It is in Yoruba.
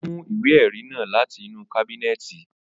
Ó mú ìwé ẹrí náà láti inú kábínẹ̀tì